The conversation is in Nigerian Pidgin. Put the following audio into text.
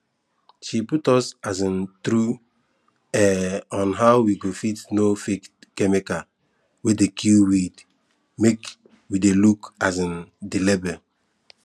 she put us um through um on how we go fit know fake chemical wey dey kill weed make we dey look um the label